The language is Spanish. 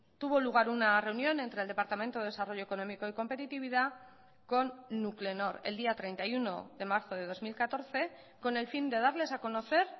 tuvo lugar una reunión entre el departamento de desarrollo económico y competitividad con nuclenor el día treinta y uno de marzo de dos mil catorce con el fin de darles a conocer